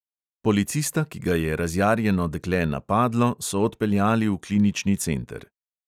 Policista, ki ga je razjarjeno dekle napadlo, so odpeljali v klinični center.